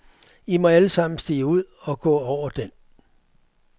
I må alle sammen stige ud og gå over den.